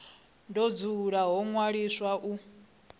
do dzula ho ṅwaliswa u